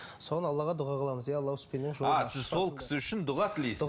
соны аллаға дұға қыламыз а сіз сол кісі үшін дұға тілейсіз